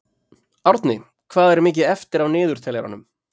Árni, hvað er mikið eftir af niðurteljaranum?